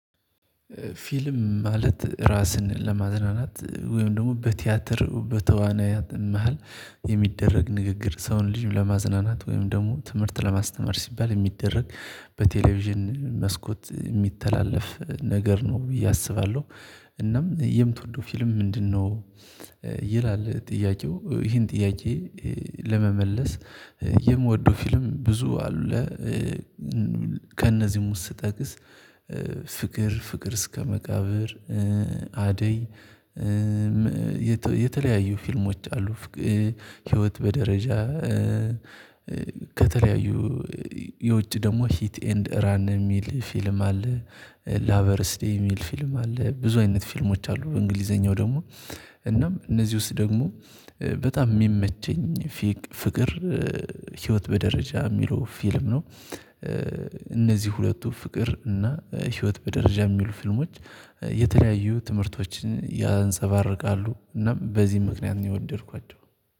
ፊልም ማለት ራስን ለማዝናናት ወይም ደግሞ በቲያትር በተዋናያት መሃል የሚደረግ ንግግር ሰውን ልጅ ለማዝናናት ወይም ደግሞ ትምህርት ለማስተማር ሲባል የሚደረግ በቴሌቪዥን መስኮት የሚተላለፍ ነገር ነው ብዬ አስባለሁ። እናም የምትወደው ፊልም ምንድነው? ይላል ጥያቄው ይሄን ጥያቄ ለመመለስ የምወደው ፊልም ብዙ አለ ከእነዚህም ውስጥ ስጠቅስ ፍቅር ፍቅር እስከ መቃብር፣ አደይ የተለያዩ ፊልሞች አሉ ህይወት በደረጃ፣ ከተለያዩ የውጭ ደግሞ ሂት ኤንድ ራን የሚል ፊልም አለ ላቨርስዴይ የሚል ፊልም አለ ብዙ አይነት ፊልሞች አሉ በእንግሊዘኛው ደግሞ እናም እነዚህ ውስጥ ደግሞ በጣም የሚመቸኝ ፍቅር ህይወት በደረጃ የሚለው ፊልም ነው። እነዚህ ሁለቱ ፍቅር እና ህይወት በደረጃ የሚሉ ፊልሞች የተለያዩ ትምህርቶችን ያንፀባርቃሉ እናም በዚህ ምክንያት ነው የወደድኳቸው።